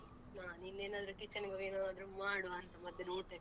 ನಾನಿಲ್ಲೇನಾದ್ರೂ kitchen ಗ್ ಹೋಗಿ ಏನಾದ್ರೂ ಮಾಡುವಾಂತ ಮಧ್ಯಾಹ್ನ ಊಟಕ್ಕೆ.